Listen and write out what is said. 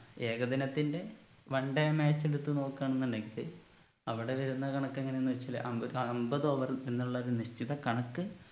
ഏകദിനത്തിന്റെ one time match എടുത്ത് നോക്കുവാണെന്നുണ്ടെങ്കില് അവിടെ വരുന്ന കണക്ക് എങ്ങനെന്ന് വെച്ചാല് അമ്പത് അമ്പത് over എന്നുള്ള ഒരു നിശ്ചിത കണക്ക്